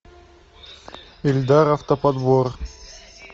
эльдар автоподбор